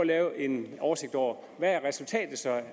lave en oversigt over hvad resultatet